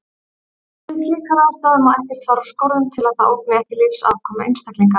Við slíkar aðstæður má ekkert fara úr skorðum til að það ógni ekki lífsafkomu einstaklinganna.